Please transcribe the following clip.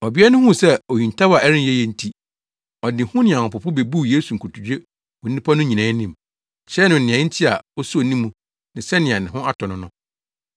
Ɔbea no huu sɛ ohintaw a ɛrenyɛ ye nti, ɔde hu ne ahopopo bebuu Yesu nkotodwe wɔ nnipa no nyinaa anim, kyerɛɛ no nea enti a osoo ne mu ne sɛnea ne ho atɔ no no.